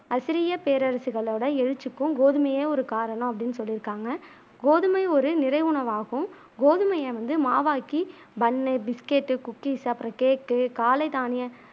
அசிரிய பேரரசுகளோட எழுச்சிக்கும் கோதுமையே ஒரு காரணம் அப்பிடினு சொல்லிருக்காங்க கோதுமை ஒரு நிறை உணவாகும் கோதுமையை வந்து மாவாக்கி பன்னு, பிஸ்கட்டு, குக்கீஸ் அப்புறம் கேக்கு காலை தானிய